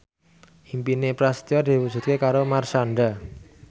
impine Prasetyo diwujudke karo Marshanda